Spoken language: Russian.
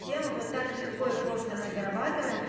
вот так легко и просто мы зарабатываем